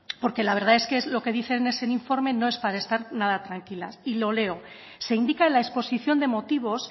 porque la verdad que lo que dice ese informe no es para estar nada tranquilas y lo leo se indica en la exposición de motivos